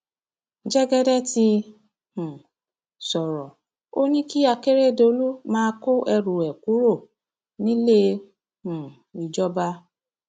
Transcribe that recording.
jẹgẹdẹ ti um sọrọ ò ní kí akérèdọlù máa kó ẹrù ẹ kúrò nílé um ìjọba